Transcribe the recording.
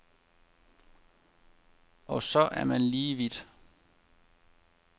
Og så er man lige vidt.